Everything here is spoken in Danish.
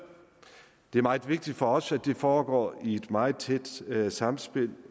det er meget vigtigt for os at dette foregår i et meget tæt samspil